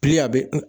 Bili a bɛ